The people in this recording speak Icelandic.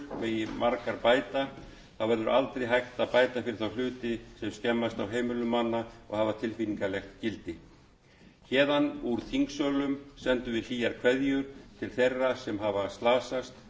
megi margar bæta þá verður aldrei hægt að bæta fyrir þá hluti sem skemmast á heimilum manna og hafa tilfinningalegt gildi héðan úr þingsölum sendum við hlýjar kveðjur til þeirra sem hafa slasast